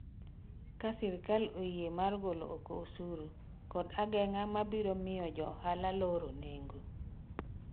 ka sirikal oyie mar golo oko osuru kod ageng'a mabiro biyo jo ohala loro nengo